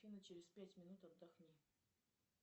афина через пять минут отдохни